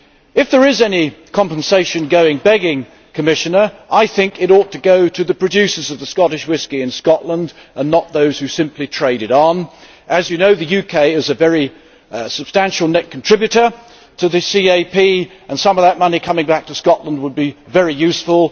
If there is any compensation going begging, Commissioner, it ought to go to the producers of Scottish whisky in Scotland and not to those who simply trade it on. As you know, the UK is a very substantial net contributor to the common agricultural policy, and some of that money coming back to Scotland would be very useful.